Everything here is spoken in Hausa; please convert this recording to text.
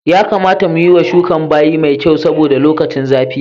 Ya kamata mu yiwa shukan bayi mai kyau saboda lokacin zafi ne.